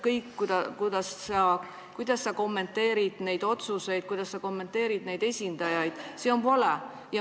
Kõik need järeldused ning see, kuidas sa kommenteerid neid otsuseid ja kuidas sa kommenteerid esinejaid – see on vale.